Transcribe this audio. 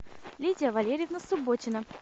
лидия валерьевна субботина